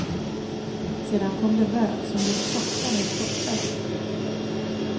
Sedan kom det rök som blev tjockare och tjockare.